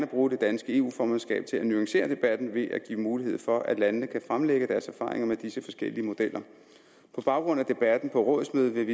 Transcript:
bruge det danske eu formandskab til at nuancere debatten ved at give mulighed for at landene kan fremlægge deres erfaringer med disse forskellige modeller på baggrund af debatten på rådsmødet